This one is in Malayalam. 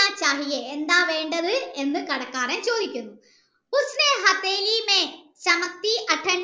എന്താ വേണ്ടത് എന്ന് കടക്കാരൻ ചോയ്ക്കുന്നു